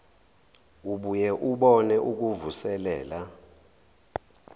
ubuye ubone ukuvuselela